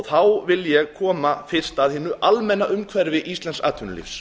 þá vil ég koma fyrst að hinu almenna umhverfi íslensks atvinnulífs